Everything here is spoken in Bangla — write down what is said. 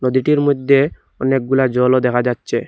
লেটের মইধ্যে অনেকগুলা জলও দেখা যাচ্ছে।